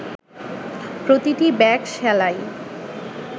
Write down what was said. প্রতিটি ব্যাগ সেলাই